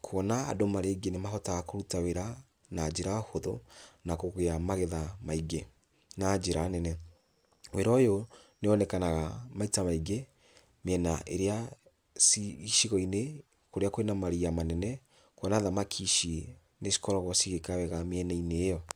kwona andũ marĩ aingĩ nĩ mahotaga kũruta wĩra na njĩra hũthũ, na kũgĩa magetha maingĩ, na njĩra nene, wĩra ũyũ nĩ wonekanaga maita maingĩ mĩena ĩrĩa ci icigoinĩ kũrĩa kwĩna maria manene, kwona thamaki ici nĩ cikoragwo cigĩka wega mĩena-inĩ ĩyo.